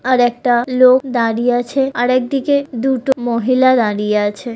আর একটা লোক দাঁড়িয়ে আছে আর একদিকে দুটো মহিলা দাঁড়িয়ে আছে।